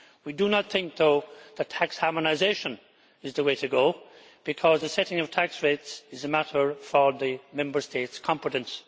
We do not think, though, that tax harmonisation is the way to go, because the setting of tax rates is a matter for the Member States' competence.